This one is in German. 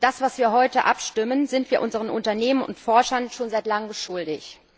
Das, worüber wir heute abstimmen, sind wir unseren Unternehmen und Forschern schon seit langem schuldig.